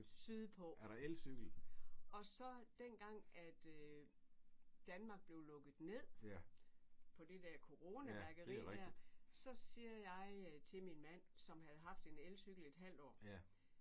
Sydpå. Og så den gang at Danmark blev lukket ned på det der coronaværkeri der så siger jeg til min mand som havde haft en elcykel i et halvt år